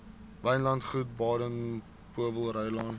wynlandgoed baden powellrylaan